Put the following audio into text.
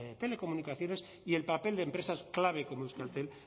telecomunicaciones y el papel de empresas clave como euskaltel